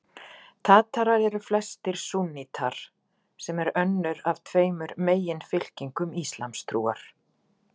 Tatarar eru flestir súnnítar, sem er önnur af tveimur meginfylkingum íslamstrúar.